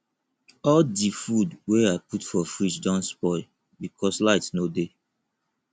all di food wey i put for fridge don spoil because light no dey